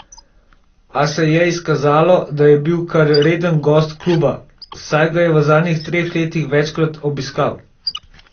A se je izkazalo, da je bil kar reden gost kluba, saj ga je v zadnjih treh letih večkrat obiskal.